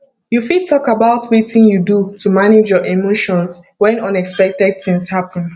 you fit talk about wetin you do to manage your emotions when unexpected things happen